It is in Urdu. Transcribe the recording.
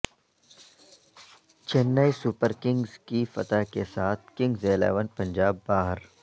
چنئی سپرکنگز کی فتح کے ساتھ کنگز الیون پنجاب باہر